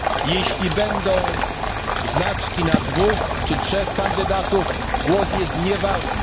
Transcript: Jeśli będą znaczki na dwóch czy trzech kandydatów, głos jest nieważny.